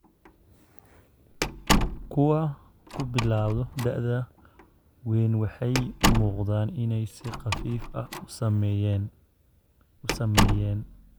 Kuwa ku bilawda da'da weyn waxay u muuqdaan inay si khafiif ah u saameeyeen.